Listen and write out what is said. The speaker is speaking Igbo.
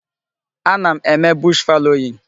Ana m eme bush fallowing.